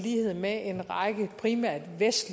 i england